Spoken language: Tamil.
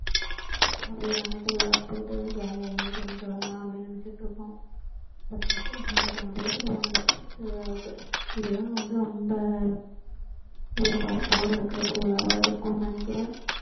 அப்படியே நாங்க திருவிழாக்கு போயிட்டு jolly யா enjoy பண்ணிட்டு வரலாம் அப்படின்னு நினைச்சிட்டு இருக்கோம் first first டு எனக்கு marriage ஆன புதுசுல போனது திருவிழாவுக்கு இது தான் வந்து ரொம்ப திருவிழாவா இருக்கும்னு நினைக்கிறேன்